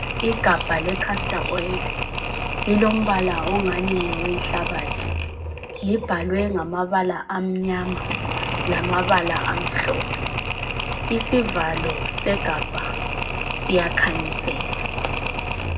Igabha lecastor oyili, lilombala ongani ngowenhlabathi libhalwe ngamabala amnyama lamabala amhlophe. Isivalo segabha siyakhanyisela.